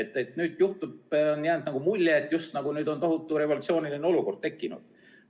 On jäänud mulje, nagu oleks nüüd tohutu revolutsiooniline olukord tekkinud.